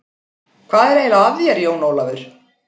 Hvað er eiginlega að þér, Jón Ólafur?